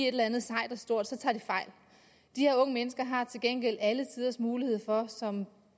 eller andet sejt og stort så tager de fejl de her unge mennesker har til gengæld alle tiders mulighed for som